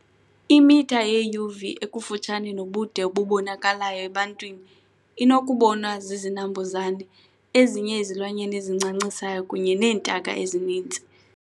Imitha yeUV ekufutshane nobude obubonakalayo ebantwini inokubonwa zizinambuzane, ezinye izilwanyana ezincancisayo kunye neentaka ezininzi.